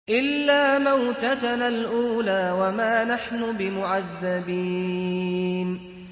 إِلَّا مَوْتَتَنَا الْأُولَىٰ وَمَا نَحْنُ بِمُعَذَّبِينَ